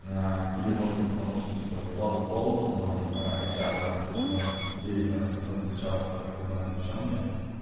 или может быть потому что типа слабый пол в основном эйчара там сколько девяносто девять наверное процентов эйчаров которых я знаю девчонки